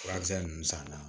Furakisɛ ninnu sanna